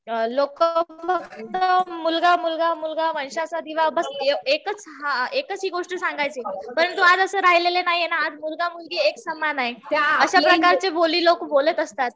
लोक नुसतं मुलगा मुलगा मुलगा वंशाचा दिवा बस एकच हि गोष्ट सांगायचे. परंतु आज असं राहिलेलं नाहीये ना. आज मुलगा मुलगी एक समान आहे. अशा प्रकारचे बोली लोकं बोलत असतात.